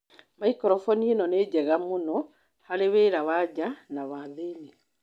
Maikrophoni ĩno nĩ njega mũno harĩ wĩra wa nja na wa thĩinĩ.